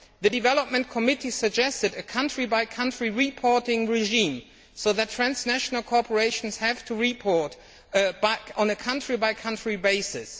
The Development Committee suggested a country by country reporting regime so that transnational corporations have to report back on a country by country basis.